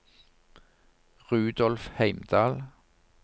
Rudolf Heimdal